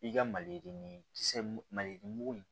I ka mali kisɛ mali mugu in